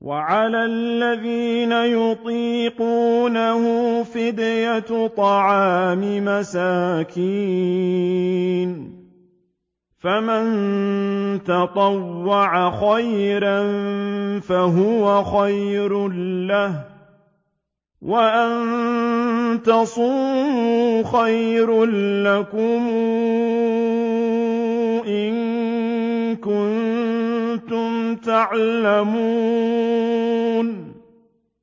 وَعَلَى الَّذِينَ يُطِيقُونَهُ فِدْيَةٌ طَعَامُ مِسْكِينٍ ۖ فَمَن تَطَوَّعَ خَيْرًا فَهُوَ خَيْرٌ لَّهُ ۚ وَأَن تَصُومُوا خَيْرٌ لَّكُمْ ۖ إِن كُنتُمْ تَعْلَمُونَ